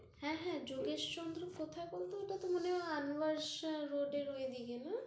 হ্যাঁ, হ্যাঁ, যোগেশচন্দ্রের কোথায় বলতো? ওটা তো মনে হয় আনোয়ার শাহ্ road এর ওইদিকে না? হ্যাঁ,